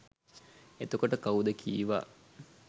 එතකොට කවුද කීවා